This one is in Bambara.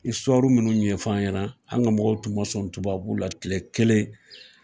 minnu ɲɛfɔ an ɲɛna, an ka mɔgɔw tun ma sɔn tubabuw la tile kelen.